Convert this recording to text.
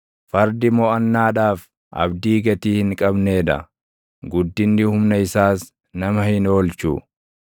Fardi moʼannaadhaaf abdii gatii hin qabnee dha; guddinni humna isaas nama hin oolchu.